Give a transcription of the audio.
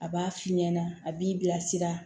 A b'a f'i ɲɛna a b'i bilasira